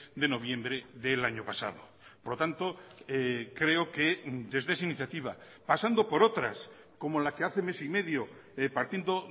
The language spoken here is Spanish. de noviembre del año pasado por lo tanto creo que desde esa iniciativa pasando por otras como la que hace mes y medio partiendo